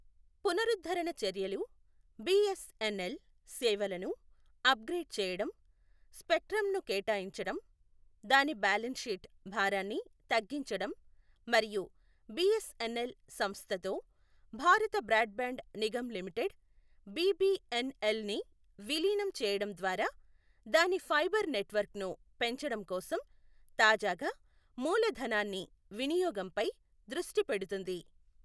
పునరుద్ధరణ చర్యలు బీఎస్ఎన్ఎల్ సేవలను అప్గ్రేడ్ చేయడం, స్పెక్ట్రమ్ను కేటాయించడం, దాని బ్యాలెన్స్ షీట్ భారాన్ని తగ్గించడం మరియు బీఎస్ఎన్ఎల్ సంస్థతో Bharat Broadband Nigam Limited BBNL ని విలీనం చేయడం ద్వారా దాని ఫైబర్ నెట్వర్క్ను పెంచడం కోసం తాజాగా మూలధనాన్ని వినియోగంపై దృష్టి పెడుతుంది.